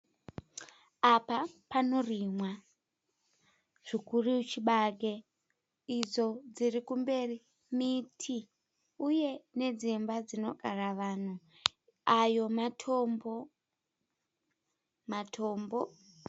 Apa panorimwa zvikuru chibage. Idzo dziri kumberi miti uye nedzimba dzinogara vanhu. Ayo matombo. Matombo.